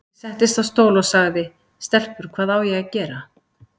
Ég settist á stól og sagði:- Stelpur, hvað á ég að gera?